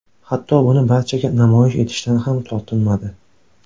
Hatto buni barchaga namoyish etishdan ham tortinmadi.